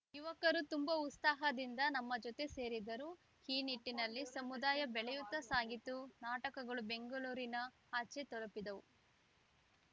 ಯುವಕರು ತುಂಬಾ ಉತ್ಸಾಹದಿಂದ ನಮ್ಮ ಜೊತೆ ಸೇರಿದರು ಈ ನಿಟ್ಟಿನಲ್ಲಿ ಸಮುದಾಯ ಬೆಳೆಯುತ್ತಾ ಸಾಗಿತು ನಾಟಕಗಳು ಬೆಂಗಳೂರಿನ ಆಚೆ ತಲುಪಿದವು